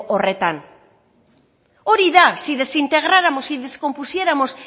horretan hori da si desintegráramos y descompusiéramos